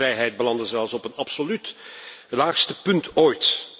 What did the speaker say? De persvrijheid belandde zelfs op een absoluut laagste punt ooit.